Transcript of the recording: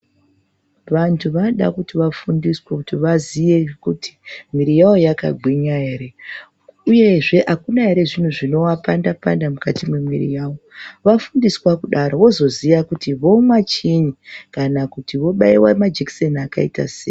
Vantu vanoda kuti vafundiswe kuti, mwiri yavo yakagwinya ere, uyezve akuna ere zvinhu zvinoapanda -panda mukati mwemwiri yavo .Vafundiswa kudaro vozoziya kuti vomwa chiini kana kuti vibaiwa majikiseni akaita sei.